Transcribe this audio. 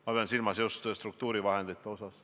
Ma pean silmas just struktuurivahendeid.